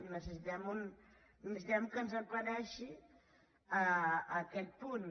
necessitem que ens aclareixi aquest punt